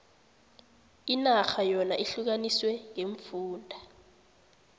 inarha yona ihlukaniswe ngeemfunda